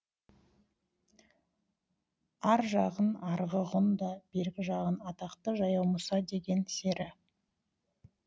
ар жағың арғы ғұн да бергі жағың атақты жаяу мұса деген сері